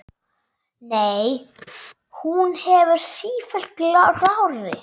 Nei, hún verður sífellt grárri.